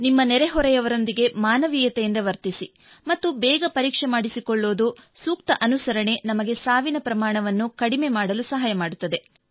ನಿಮ್ಮ ನೆರೆಹೊರೆಯವರೊಂದಿಗೆ ಮಾನವೀಯತೆಯಿಂದ ವರ್ತಿಸಿ ಮತ್ತು ಬೇಗ ಪರೀಕ್ಷೆ ಮಾಡಿಸಿಕೊಳ್ಳುವುದು ಮತ್ತು ಸೂಕ್ತ ಅನುಸರಣೆ ನಮಗೆ ಸಾವಿನ ಪ್ರಮಾಣವನ್ನು ಕಡಿಮೆ ಮಾಡಲು ಸಹಾಯ ಮಾಡುತ್ತದೆ